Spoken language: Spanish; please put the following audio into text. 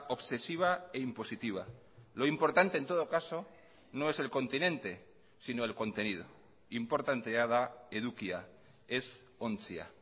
obsesiva e impositiva lo importante en todo caso no es el continente sino el contenido inportantea da edukia ez ontzia